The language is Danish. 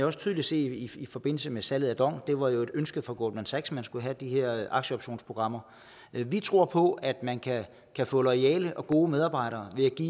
også tydeligt se i forbindelse med salget af dong hvor der var et ønske fra goldman sachs man skulle have de her aktieoptionsprogrammer vi tror på at man kan få loyale og gode medarbejdere ved at give